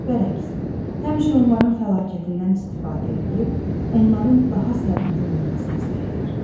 Bərakis, həmişə onların fəlakətindən istifadə eləyib, onların daha sərnişin olmasına səy edir.